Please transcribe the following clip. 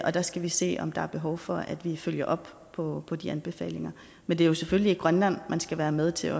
og der skal vi se om der er behov for at vi følger op på de anbefalinger men det er jo selvfølgelig i grønland man skal være med til